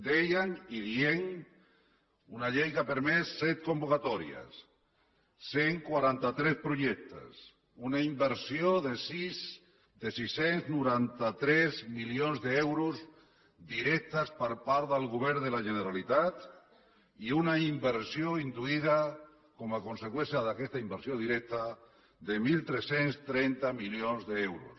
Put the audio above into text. dèiem i diem una llei que ha permès set convocatòries cent i quaranta tres projectes una inversió de sis cents i noranta tres milions d’euros directes per part del govern de la generalitat i una inversió induïda com a conseqüència d’aquesta inversió directa de tretze trenta milions d’euros